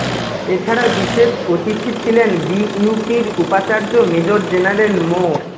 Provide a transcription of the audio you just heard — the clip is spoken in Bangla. এছাড়া বিশেষ অতিথি ছিলেন বিইউপির উপাচার্য মেজর জেনারেল মো